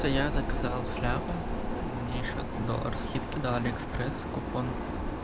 то я заказал шляпу мне ещё доллар скидки дал алиэкспресс за купон